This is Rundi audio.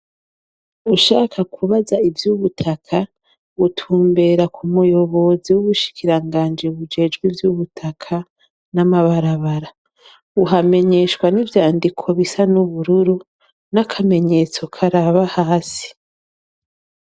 Ushaka kubaza ivyo ubutaka gutumbera ku muyobozi w'ubushikiranganje bujejwi vy'ubutaka n'amabarabara uhamenyeshwa n'ivyandiko bisa n'ubururu n'akamenyetso karaba hasi.